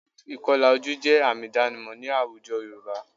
Ìkọlà ojú jẹ́ àmì ìdánimọ̀ ní àwùjọ Yorùbá